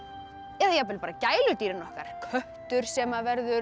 eða jafnvel bara gæludýrin okkar köttur sem verður